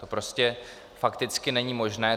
To prostě fakticky není možné.